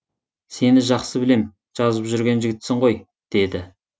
сені жақсы білем жазып жүрген жігітсің ғой деді